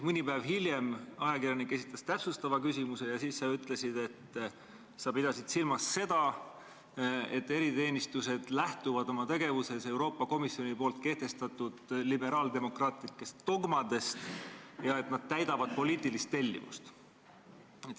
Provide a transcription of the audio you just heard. Mõni päev hiljem esitas ajakirjanik täpsustava küsimuse ja siis sa ütlesid, et sa pidasid silmas seda, et eriteenistused lähtuvad oma tegevuses Euroopa Komisjoni kehtestatud liberaaldemokraatlikest dogmadest ja et nad täidavad poliitilist tellimust.